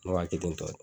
Ne wa kelen tɔ